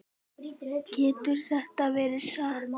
Getur þetta verið satt?